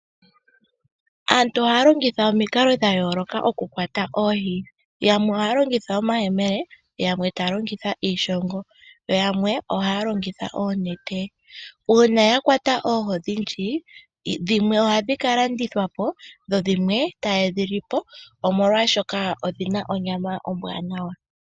Aantu ohaalongitha omikalo odhindji okukwata oohi, yamwe ohaalongitha omayemele ,yamwe iishongo yoyamwe ohayalongitha oonete. Uuna yakwata oohi odhindji, dhimwe ohadhikalandithwa po dhimwe tayedhilipo oshoka odhina onyama ombwaanawa.